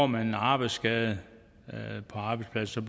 man en arbejdsskade på arbejdspladsen